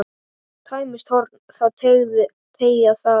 Tæmist horn þá teygað er.